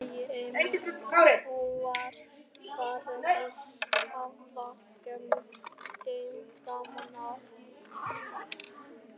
sagði Emil og var farinn að hafa gaman af.